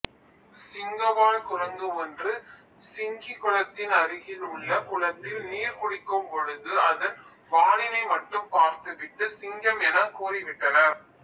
சிங்கவால் குரங்கு ஒன்று சிங்கிகுளத்தின் அருகில் உள்ள குளத்தில் நீர் குடிக்கும்பொழுது அதன் வாலினைமட்டும் பார்த்துவிட்டு சிங்கம் எனக்கூறிவிட்டனர்